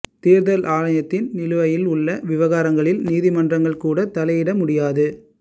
தேர்தல் ஆணையத்தில் நிலுவையில் உள்ள விவகாரங்களில் நீதிமன்றங்கள் கூட தலையிட முடியாது